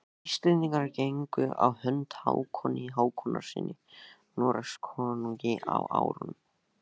Íslendingar gengu á hönd Hákoni Hákonarsyni Noregskonungi á árunum